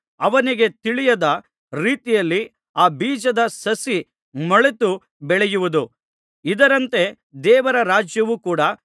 ಅವನಿಗೆ ತಿಳಿಯದ ರೀತಿಯಲ್ಲಿ ಆ ಬೀಜದ ಸಸಿ ಮೊಳೆತು ಬೆಳೆಯುವುದು ಇದರಂತೆ ದೇವರ ರಾಜ್ಯವೂ ಕೂಡ